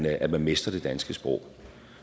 at man mestrer det danske sprog